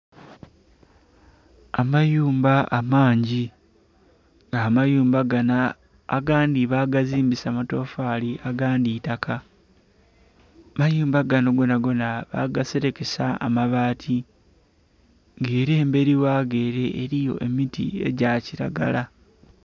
Amayumba amangi nga amayumba gano agandhi bagazimbisa matofali agandhi itaka, amayumba gano gonagona bagaserekesa amabaati nga era emberi wago ere eriyo emiti egya kiragala.